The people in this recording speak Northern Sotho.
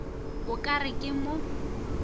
o ka re ke mo